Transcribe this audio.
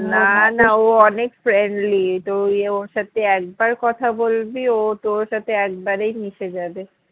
ও অনেক friendly তুই ওর সাথে একবার কথা বলবি ও তোর সাথে একেবারেই মিশে যাবে